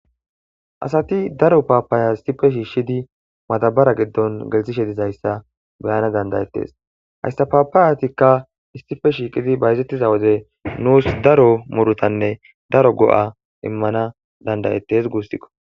Asati daro papaya issipe shishidi madabare gidon gelisishe dizayssa be'ana danda'etes haysa papayatika issipe shiqidi bayzetida wode nusi daro murutanne daro go'a immanawu danda'etes gustiko.